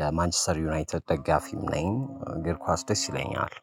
የማንችስተር ዩናይትድ ደጋፊም ነኝ እግር ኳስ ደስ ይለኛል